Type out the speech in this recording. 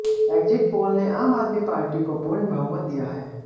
exit poll ने Aam Aadmi Party को पूर्ण बहुमत दिया है